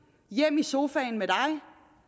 hjem i sofaen med dig